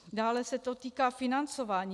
Dále se to týká financování.